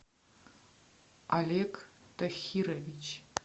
олег тахирович